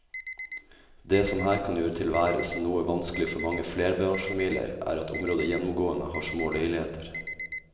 Det som her kan gjøre tilværelsen noe vanskelig for mange flerbarnsfamilier er at området gjennomgående har små leiligheter.